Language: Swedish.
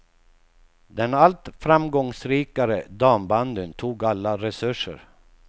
Den allt framgångsrikare dambandyn tog alla resurser.